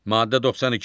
Maddə 92.